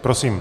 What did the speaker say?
Prosím.